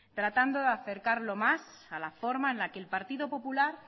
tratando de acercarlo más a la forma en la que el partido popular